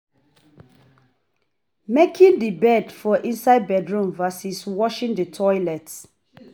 Making the bed for inside bedroom vs washing the toilet